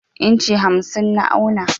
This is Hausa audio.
inci hamsin na auna.